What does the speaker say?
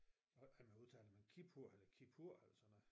Jeg ved ikke hvordan man udtaler det men Kippur eller Kippur eller sådan noget